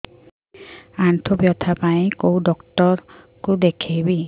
ଆଣ୍ଠୁ ବ୍ୟଥା ପାଇଁ କୋଉ ଡକ୍ଟର ଙ୍କୁ ଦେଖେଇବି